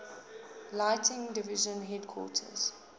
lighting division headquarters